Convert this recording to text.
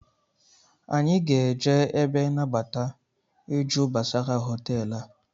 Anyị ga-eje ebe nabata ịjụ gbasara hoteelu a